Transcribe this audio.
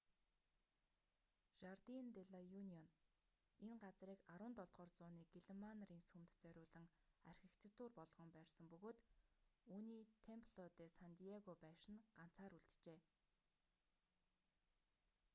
жардин де ла юнион энэ газрыг 17-р зууны гэлэнмаа нарын сүмд зориулан архитектур болгон барьсан бөгөөд үүний темпло де сан диего байшин нь ганцаар үлджээ